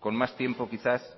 con más tiempo quizás